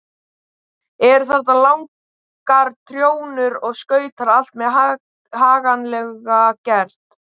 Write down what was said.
Eru þarna langar trjónur og stautar, allt mjög haganlega gert.